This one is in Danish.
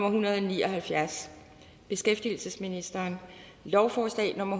en hundrede og ni og halvfjerds beskæftigelsesministeren lovforslag nummer